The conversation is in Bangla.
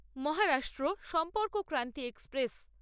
মহারাষ্ট্র সম্পর্কক্রান্তি এক্সপ্রেস